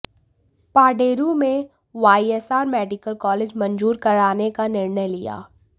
पाडेरू में YSR medical college मंजूर कराने का निर्णय लिया